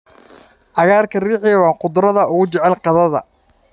Cagaarka riixi waa khudradda ugu jecel qadada.